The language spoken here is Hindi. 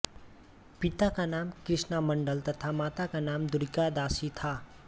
पिता का नाम कृष्णमंडल तथा माता का दूरिका दासी था